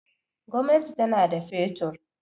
Gwamnati tana da fetur.